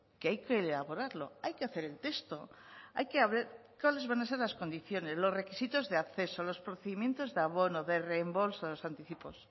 que hay que elaborarlo hay que hacer el texto hay que ver cuáles van a ser las condiciones los requisitos de acceso los procedimientos de abono de reembolso los anticipos